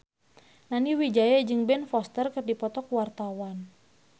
Nani Wijaya jeung Ben Foster keur dipoto ku wartawan